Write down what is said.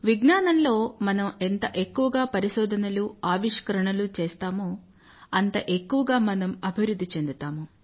విజ్ఞానంలో మనం ఎంత ఎక్కువగా పరిశోధనలు ఆవిష్కరణలు చేస్తామో అంత ఎక్కువగా మనం అభివృధ్ధి చెందుతాము